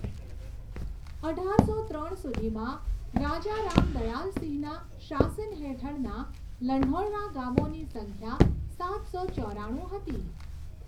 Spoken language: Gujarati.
અઢારસો ત્રણ સુધીમાં, રાજા રામ દયાલ સિંહના શાસન હેઠળના લંઢૌરા ગામોની સંખ્યા સાતસો ચોરાણું હતી.